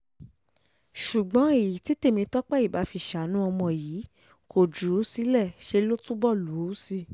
ṣùgbọ́n èyí tí tèmítọ́pẹ́ ibà fi ṣàánú ọmọ yìí kò jù ú sílẹ̀ ṣe ló túbọ̀ lù ú sí i